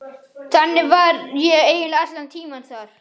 Þannig var ég eiginlega allan tímann þar.